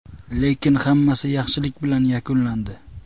Lekin hammasi yaxshilik bilan yakunlandi.